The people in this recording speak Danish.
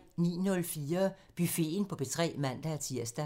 09:04: Buffeten på P3 (man-tir)